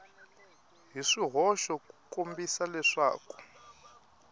hi swihoxo ku kombisa leswaku